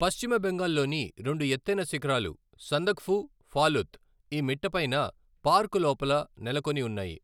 పశ్చిమ బెంగాల్లోని రెండు ఎత్తైన శిఖరాలు, సందక్ఫు, ఫాలుత్, ఈ మిట్ట పైన, పార్క్ లోపల నెలకొని ఉన్నాయి.